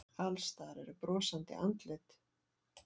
Alls staðar eru brosandi andlit.